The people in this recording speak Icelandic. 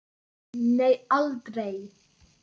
Nei, aldrei.